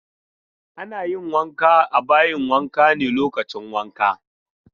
Ana yin wanka a bayin wanka ne lokacin wanka.